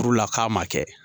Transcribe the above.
Furu la k'a ma kɛ